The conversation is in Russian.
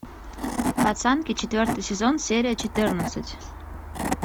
пацанки четвертый сезон серия четырнадцать